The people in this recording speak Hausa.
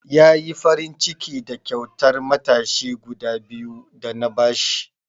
Ya yi farinciki da kyautar matashi guda biyu da na ba shi.